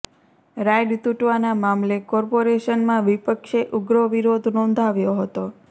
ride તુટવાના મામલે કોર્પોરેશનમાં વિપક્ષે ઉગ્ર વિરોધ નોંધાવ્યો હતો